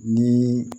Ni